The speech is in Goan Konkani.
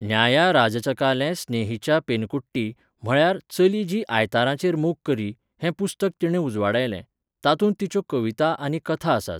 न्यायाराझचकाले स्नेहिचा पेनकुट्टी, म्हळ्यार 'चली जी आयतारांचेर मोग करी' हें पुस्तक तिणें उजवाडायलें, तातूंत तिच्यो कविता आनी कथा आसात.